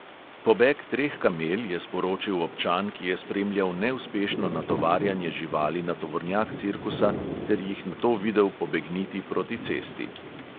Pobeg treh kamel je sporočil občan, ki je spremljal neuspešno natovarjanje živali na tovornjak cirkusa ter jih nato videl pobegniti proti cesti.